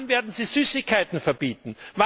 Wann werden Sie Süßigkeiten verbieten?